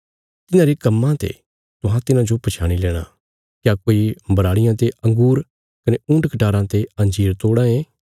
तिन्हांरे कम्मां ते तुहां तिन्हांजो पछयाणी लेणा क्या कोई बराड़ियां ते अँगूर कने ऊँटकटाराँ ते अंजीर तोड़ां ये